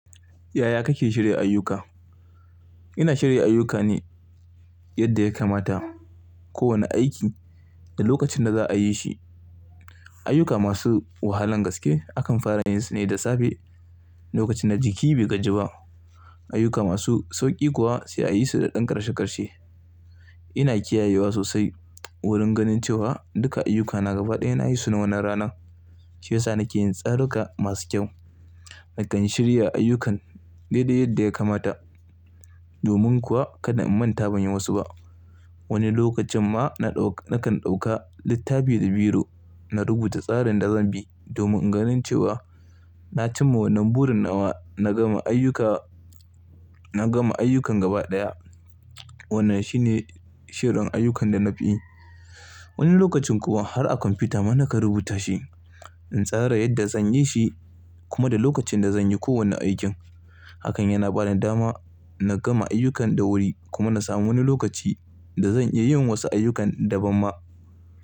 Yaya kake shirya ayyuka? Ina shirya ayyuka ne yadda ya kamata. Kowane aiki da lokacin da za a yi shi. Ayyuka masu wahalan gaske akan fara yin su ne da safe lokacin da jiki bai gaji ba. Ayyuka masu sauƙi kuwa sai a yi su da ɗan ƙarshe ƙarshe. Ina kiyayewa sosai wurin ganin cewa duka ayyukana gaba ɗaya na yi su na wannan ranan. Shi ya sa nake yin tsaruka masu kyau. Nakan shirya ayyukan daidai yadda ya kamata. Domin kuwa kada in manta ban yi wasu ba. Wani lokacin ma na ɗauka, nakan ɗauka littafi da biro na rubuta tsarin da zan bi domin in ganin cewa na cimma wannan burin nawa, na gama ayyuka, na gama ayyukan gaba ɗaya. Wannan shi ne shirin ayyukan da na fi yi. Wani lokacin kuwa har a kwamfuta ma nakan rubuta shi in tsara yadda zan yi shi kuma da lokacin da zan yi kowane aikin. Hakan yana bani dama na gama ayyukan da wuri kuma na samu wani lokaci da zan iya yin wasu ayyukan daban ma.